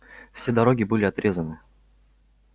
все дороги были отрезаны